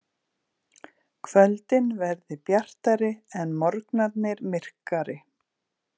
Kvöldin verði bjartari en morgnarnir myrkari